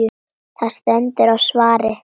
Það stendur á svari.